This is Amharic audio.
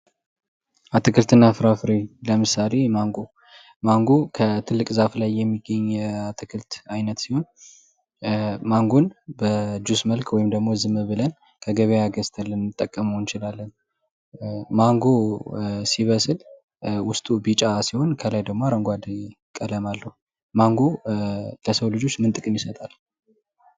አትክልትና ፍራፍሬ ለምሳሌ ማንጎ ከትልቅ ዛፍ ላይ የሚገኝ የአትክልት አይነት ሲሆን፤ ማንጎን በጁስ መልክ ወይም ደግሞ ዝም ብለን ከገበያ ገዝተን ልንጠቀመው እንችላለን። ማንጎ ሲበስል ውስጡ ቢጫ ሲሆን፤ ከላይ ደግሞ አረንጓዴ ቀለም አለው። ማንጎ ለሰው ልጆች ምን ጥቅም ይሰጣል?